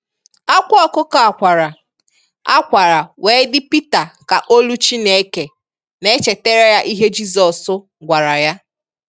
Akwa ọkụkọ a kwara a kwara wee di pita ka olu Chineke na echetere ya ihe Jizọs gwara ya.